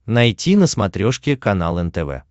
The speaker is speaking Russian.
найти на смотрешке канал нтв